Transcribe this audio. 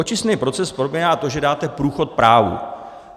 Očistný proces probíhá tak, že dáte průchod právu.